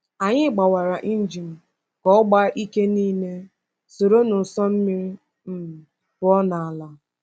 Anyị gbawara injin ka ọ gbaa ike niile, soro n’ụsọ mmiri um pụọ n’ala.